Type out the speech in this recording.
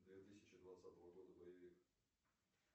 две тысячи двадцатого года боевик